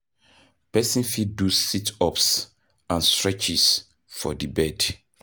Person fit do sit ups and streches for di bed